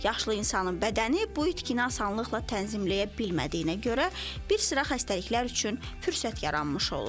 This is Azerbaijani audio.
Yaşlı insanın bədəni bu itkini asanlıqla tənzimləyə bilmədiyinə görə bir sıra xəstəliklər üçün fürsət yaranmış olur.